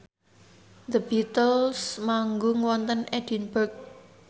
The Beatles manggung wonten Edinburgh